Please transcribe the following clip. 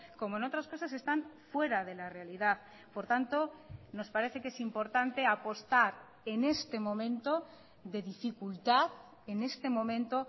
como en otras cosas están fuera de la realidad por tanto nos parece que es importante apostar en este momento de dificultad en este momento